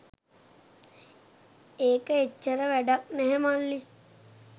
ඒක එච්චර වැඩක් නැහැ මල්ලි.